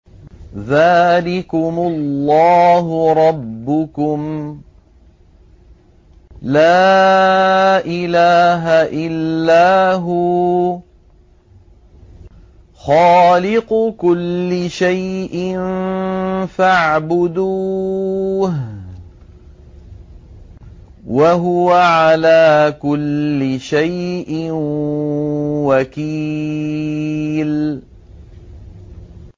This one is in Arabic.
ذَٰلِكُمُ اللَّهُ رَبُّكُمْ ۖ لَا إِلَٰهَ إِلَّا هُوَ ۖ خَالِقُ كُلِّ شَيْءٍ فَاعْبُدُوهُ ۚ وَهُوَ عَلَىٰ كُلِّ شَيْءٍ وَكِيلٌ